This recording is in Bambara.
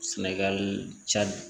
Sɛnɛgali cadi